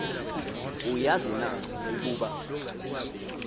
uyazi na ukuba